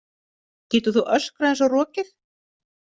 Getur þú öskrað eins og rokið?